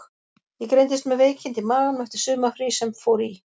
Ég greindist með veikindi í maganum eftir sumarfrí sem fór í.